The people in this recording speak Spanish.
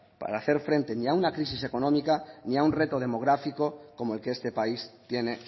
para hacer frente ni a una crisis económica ni a un reto demográfico como el que este país tiene